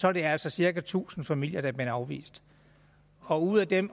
er det altså cirka tusind familier der er blevet afvist og ud af dem